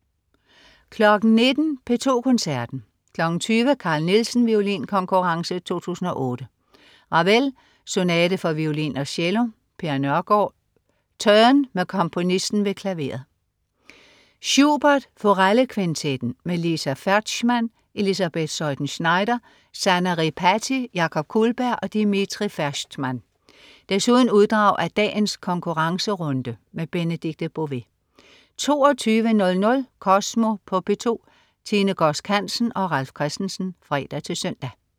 19.00 P2 Koncerten. 20.00 Carl Nielsen Violinkonkurrence 2008. Ravel: Sonate for violin og cello. Per Nørgård: Turn, med komponisten ved klaveret. Schubert: Forellekvintetten. Liza Ferschtman, Elisabeth Zeuthen Schneider, Sanna Ripatti, Jakob Kullberg og Dmitri Ferschtman. Desuden uddrag af dagens konkurrencerunde. Benedikte Bové 22.00 Kosmo på P2. Tine Godsk Hansen og Ralf Christensen (fre-søn)